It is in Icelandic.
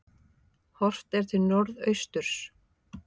Horft er til norðausturs.